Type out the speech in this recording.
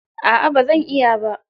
A'a ba zan iya ba.